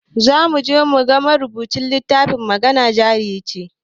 Zamuje muga marubucin littafin magana jarice